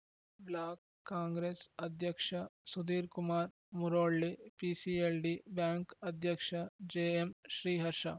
block Congress ಅಧ್ಯಕ್ಷ Sudhirkumar Murolli PCLD bank ಅಧ್ಯಕ್ಷ JM Sriharsha